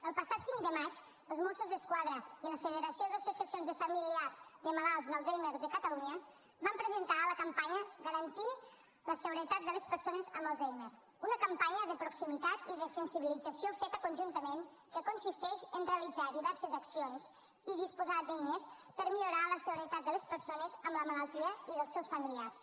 el passat cinc de maig els mossos d’esquadra i la federació d’associacions de familiars de malalts d’alzheimer de catalunya van presentar la campanya garantint la seguretat de les persones amb alzheimer una campanya de proximitat i de sensibilització feta conjuntament que consisteix en realitzar diverses accions i disposar d’eines per millorar la seguretat de les persones amb la malaltia i dels seus familiars